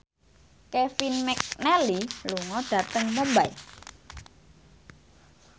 Kevin McNally lunga dhateng Mumbai